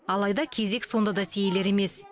алайда кезек сонда да сейілер емес